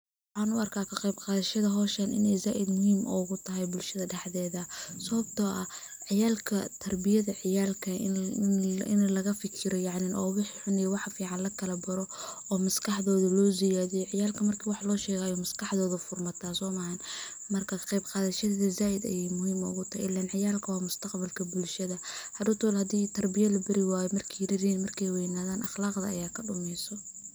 Waxan u arka kaqeb qadashada howshan inay zaaid muhim ogu tahay bulshada dhaxdeeda sababto ah tarbiyada ciyaalka ini laga fakiro yacni oo wixi xun iyo waxa fican lakala baro oo maskaxdoda loo siyadiyo, ciyaalka markii wax loo sheego ayay maskaxdooda fur mataa soma aha, marka ka qeb qadashada zaaid ayay muhiim ugu tahay ilen ciyaalka waa mustaqbalka bulshada hadhow tolo hadii tarbiya labari wayo markay yaryar yihiin markay weynaadan aqlaqda aya kadhumeyso